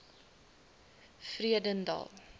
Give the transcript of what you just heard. vredendal